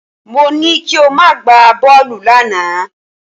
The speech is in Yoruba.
Mo ní kí o má gbá bọ́ọ̀lù lánàá